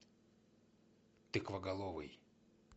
тыквоголовый